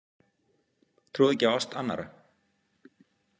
Trúði ekki á ást annarra.